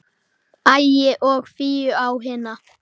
Ægi og Fíu á hina.